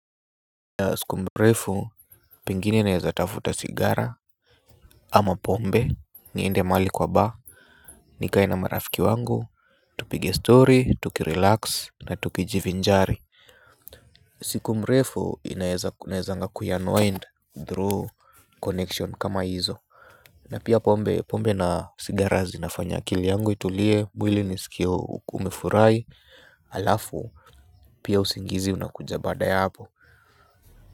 Siku mrefu pingine naweza tafuta sigara ama pombe, niende mahali kwa bar nikae na marafiki wangu, tupige story, tuki relax na tukijiv njari siku mrefu inawezanga kuyanwine through connection kama hizo na pia pombe pombe na sigara zinafanya akili yangu itulie, mwili nisikie kumefurahi alafu pia usingizi unakuja baada ya hapo.